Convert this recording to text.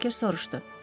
Berker soruşdu.